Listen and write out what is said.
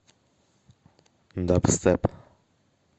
дабстеп